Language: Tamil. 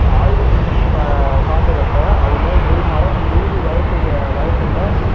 ஆய்வு செஞ்சு பா~ பார்த்ததப்ப அதுல ஒரு மரம் நூறு வயசுக்கு வயசுல